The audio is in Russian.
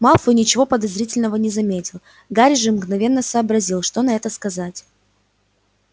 малфой ничего подозрительного не заметил гарри же мгновенно сообразил что на это сказать